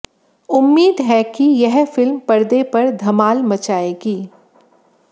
उम्मीद है कि यह फिल्म पर्दे पर धमाल मचाएगी